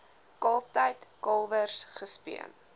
kalftyd kalwers gespeen